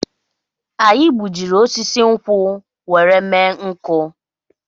Anyị gbujiri osisi nkwụ were mme nkụ